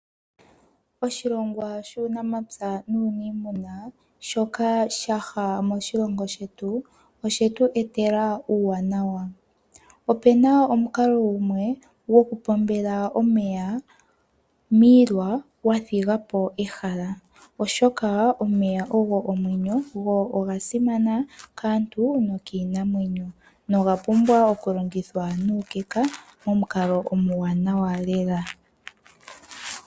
Oshilongwa shuunamapya nuuniimuna shoka shaha moshilongo shetu oshetu etela uuwanawa . Opena omukalo gumwe go ku pombela omeya miilwa wathigapo ehala oshoka omeya ogo omweyo go ogasimana kaantu nokiinamwenyo nogapumbwa okulongithwa nuukeka nomomukalo omuwanawa lela.